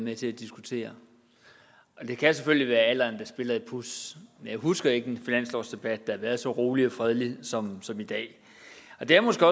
med til at diskutere og det kan selvfølgelig være alderen der spiller et puds men jeg husker ikke en finanslovsdebat der har været så rolig og fredelig som som i dag og det er måske